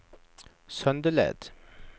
Søndeled